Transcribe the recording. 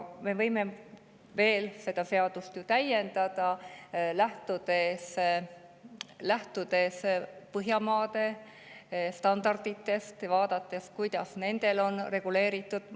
Me võime seda seadust veel täiendada, lähtuda Põhjamaade standarditest ja vaadata, kuidas nendel on reguleeritud.